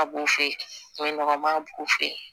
A b'u fe yen o nɔgɔman b'u fɛ yen